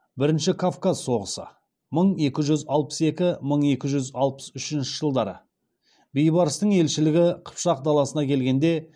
бірінші кавказ соғысы мың екі жүз алпыс екі мың екі жүз алпыс үшінші жылдары бейбарыстың елшілігі қыпшақ даласына келгенде